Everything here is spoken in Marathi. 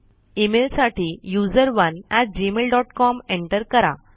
इमेल साठी USERONEgmailcom एन्टर करा